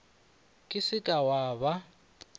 ka se ke wa ba